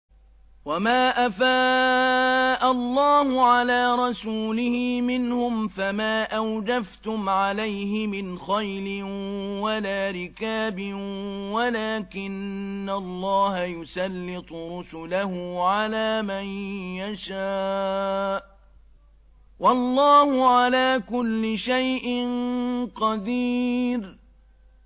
وَمَا أَفَاءَ اللَّهُ عَلَىٰ رَسُولِهِ مِنْهُمْ فَمَا أَوْجَفْتُمْ عَلَيْهِ مِنْ خَيْلٍ وَلَا رِكَابٍ وَلَٰكِنَّ اللَّهَ يُسَلِّطُ رُسُلَهُ عَلَىٰ مَن يَشَاءُ ۚ وَاللَّهُ عَلَىٰ كُلِّ شَيْءٍ قَدِيرٌ